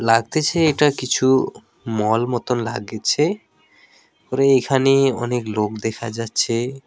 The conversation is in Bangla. লাগতেছে এটা কিছু মল মতন লাগছে ওপরে এখানে অনেক লোক দেখা যাচ্ছে।